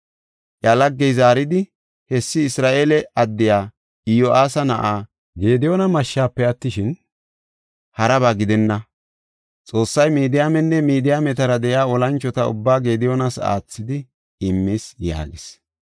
Iya laggey zaaridi, “Hessi Isra7eele addiya, Iyo7aasa na7aa Gediyoona mashshafe attishin, haraba gidenna. Xoossay Midiyaamenne Midiyaametara de7iya olanchota ubbaa Gediyoonas aathidi immis” yaagis.